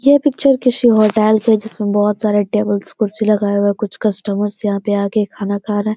यह पिक्चर किसी होटेल की है जिसमे बोहत सारा टेबल्स कुर्सी लगाया हुआ है। कुछ कस्टमर्स यहाँ पे आके खाना खा रहे --